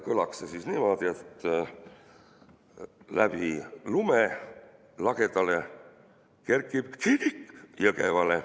Kõlaks see niimoodi: "Läbi lume lagedale kerkib kirik Jõgevale.